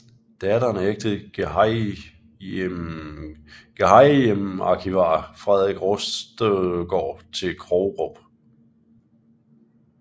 Datteren ægtede gehejmearkivar Frederik Rostgaard til Krogerup